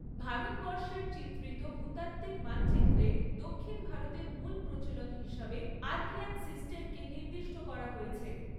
ভারতবর্ষের চিত্রিত ভূতাত্ত্বিক মানচিত্রে দক্ষিণ ভারতের মূল প্রচলন হিসাবে আর্কিয়ান সিস্টেমকে নির্দিষ্ট করা হয়েছে।